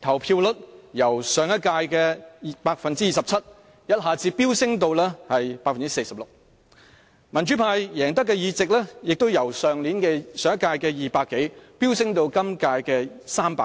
投票率由上屆的 27% 一下子飆升至 46%， 民主派贏得的議席亦由上屆的200多席飆升至今屆的300多席。